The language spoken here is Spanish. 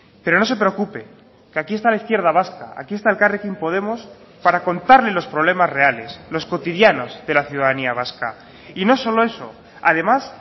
pero no se preocupe que aquí está la izquierda vasca aquí está elkarrekin podemos para contarle los problemas reales los cotidianos de la ciudadanía vasca y no solo eso además